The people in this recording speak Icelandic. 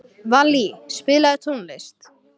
Vallý, spilaðu tónlist.